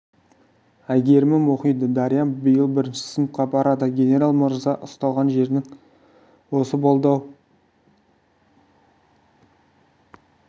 әйгерімім оқиды дариям биыл бірінші сыныпқа барады генерал мырза ұсталған жерің осы болды әйтсе де болар